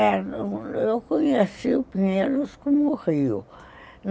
Eu conheci o Pinheiros como rio.